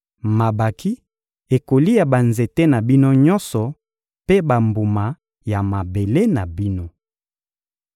Mabanki ekolia banzete na bino nyonso mpe bambuma ya mabele na bino.